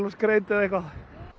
og skreyta og eitthvað